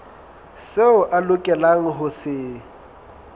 seo a lokelang ho se